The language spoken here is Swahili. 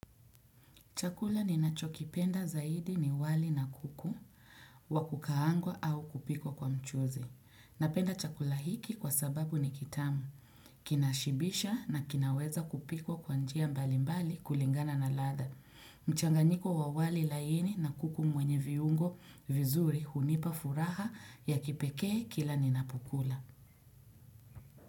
Chakula ninacho kipenda zaidi ni wali na kuku, wakukaangwa au kupikwa kwa mchuzi. Napenda chakula hiki kwa sababu ni kitamu, kinashibisha na kinaweza kupikwa kwa njia mbalimbali kulingana na ladha. Mchanganyiko wa wali laini na kuku mwenye viungo vizuri hunipa furaha ya kipekee kila ninapokula.